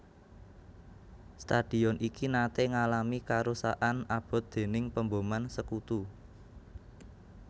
Stadion iki naté ngalami karusakan abot déning pemboman Sekutu